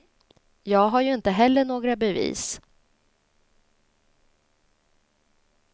Jag har ju inte heller några bevis.